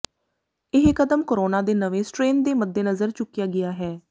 ਇਹ ਕਦਮ ਕੋਰੋਨਾ ਦੇ ਨਵੇਂ ਸਟ੍ਰੇਨ ਦੇ ਮੱਦੇਨਜ਼ਰ ਚੁੱਕਿਆ ਗਿਆ ਹੈ